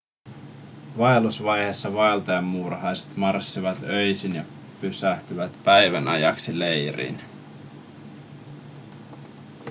vaellusvaiheessa vaeltajamuurahaiset marssivat öisin ja pysähtyvät päivän ajaksi leiriin